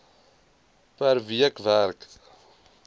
per week werk